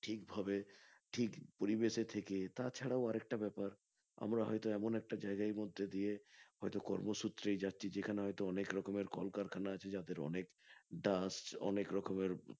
ঠিক ভাবে ঠিক পরিবেশে থেকে তাছাড়াও আর একটা ব্যাপার আমরা হয়তো এমন একটা জায়গার মধ্যে দিয়ে হয়তো কর্মসূত্রেই যাচ্ছি যেখানে হয়ত অনেক রকমের কল কারখানা আছে যাতে অনেক dust অনেক রকমের